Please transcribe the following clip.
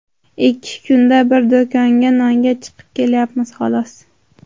Ikki kunda bir do‘konga nonga chiqib kelyapmiz, xolos.